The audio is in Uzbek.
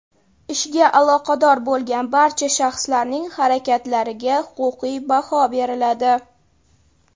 ishga aloqador bo‘lgan barcha shaxslarning harakatlariga huquqiy baho beriladi.